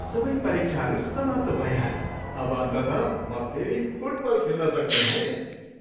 सबै परीक्षाहरू समाप्त भइहाले, अब अन्ततः म फेरि फुटबल खेल्न सक्ने भएँ।